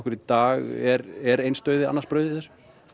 í dag er er eins dauði annars brauð í þessu